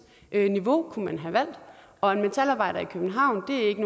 niveau og en metalarbejder i københavn hører ikke